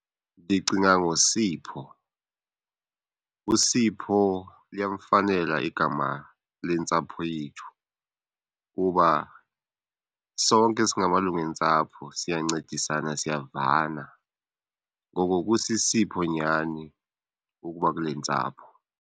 Ndicinga ngoSipho. USipho liyamfanela igama lentsapho yethu kuba sonke singamalungu entsapho, siyancedisana siyavana. Ngoko kusisipho nyhani ukuba kule ntsapho.